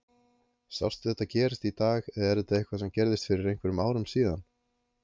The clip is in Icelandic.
Sástu þetta gerast í dag eða er þetta eitthvað sem gerðist fyrir einhverjum árum síðan?